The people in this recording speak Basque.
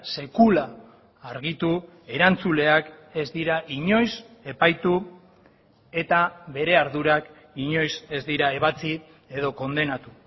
sekula argitu erantzuleak ez dira inoiz epaitu eta bere ardurak inoiz ez dira ebatzi edo kondenatu